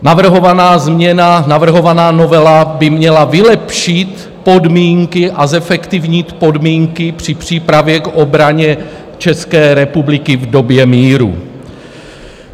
Navrhovaná změna, navrhovaná novela, by měla vylepšit podmínky a zefektivnit podmínky při přípravě k obraně České republiky v době míru.